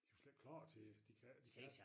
De jo slet ikke klar til at de kan de kan